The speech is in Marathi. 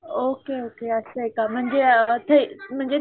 ओके ओके असय का म्हणजे थेरी म्हणजे